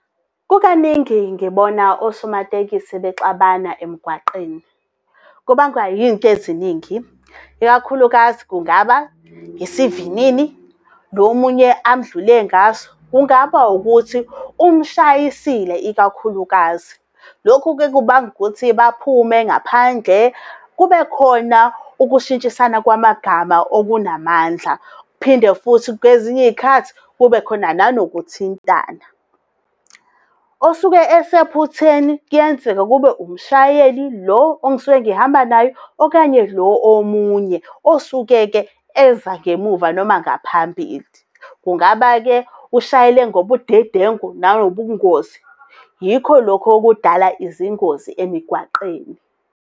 Kukaningi ngibona osomatekisi bexabana emgwaqeni. Kubangwa yinto eziningi, ikakhulukazi kungaba, isivinini lo munye amudlule ngaso, kungaba ukuthi umshayisile ikakhulukazi. Lokhu-ke kubanga ukuthi baphume ngaphandle kubekhona ukushintshisana kwamagama okunamandla, phinde futhi kwezinye iy'khathi kube khona nanokuthintana. Osuke esephutheni kuyenzeka kube umshayeli lo engisuke ngihamba naye, okanye lo omunye osuke-ke eza ngemuva noma ngaphambili. Kungaba-ke ushayele ngobudedengu nangobungozi. Yikho lokhu okudala izingozi emigwaqeni.